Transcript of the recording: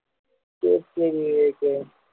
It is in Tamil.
சரி சரி விவேக்